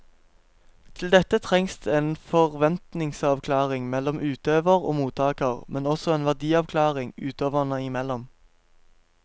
Til dette trengs det en forventningsavklaring mellom utøver og mottaker, men også en verdiavklaring utøverne imellom.